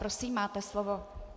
Prosím, máte slovo.